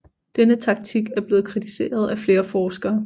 Denne taktik er blevet kritiseret af flere forskere